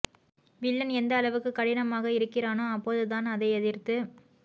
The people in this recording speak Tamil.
வில்லன் எந்த அளவுக்கு கடினமாக இருக்கிறானோ அப்போது தான் அதை எதிர்த்து